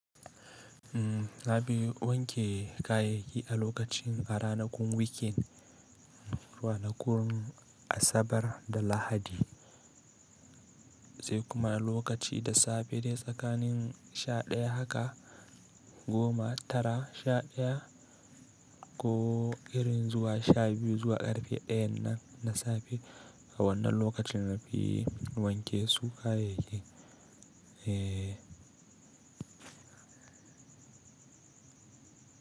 Umm, na fi wanke kayayyaki a lokacin a ranakun weekend, ranakun Asabar da Lahadi, sai kuma lokaci da safe dai tsakanin sha ɗaya haka goma tara sha ɗaya ko irin zuwa sha biyu zuwa karfe ɗayan nan na safe. A wannan lokacin na fi wanke su kayayyakin. Eh.